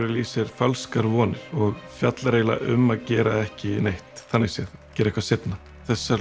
í sér falskar vonir og fjallar eiginlega um að gera ekki neitt þannig séð gera eitthvað seinna þessar